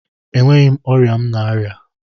Enweghị ọrịa m na-arịa